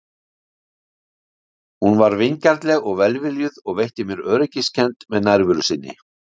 Hún var vingjarnleg og velviljuð og veitti mér öryggiskennd með nærveru sinni.